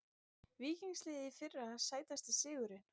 Víkings liðið í fyrra Sætasti sigurinn?